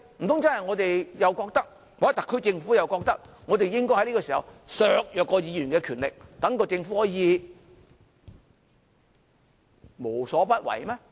難道我們或特區政府覺得應該在此刻削弱議員的權力，讓政府可以無所不為嗎？